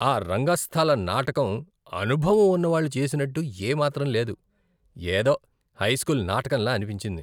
ఆ రంగస్థల నాటకం అనుభవం ఉన్నవాళ్ళు చేసినట్టు ఏ మాత్రం లేదు. ఏదో హైస్కూల్ నాటకంలా అనిపించింది.